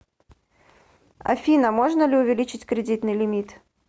афина можно ли увеличить кредитный лимит